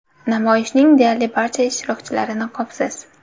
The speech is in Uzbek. Namoyishning deyarli barcha ishtirokchilari niqobsiz.